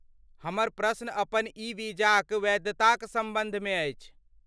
हमर प्रश्न अपन ई वीजाक वैधताक सम्बन्धमे अछि।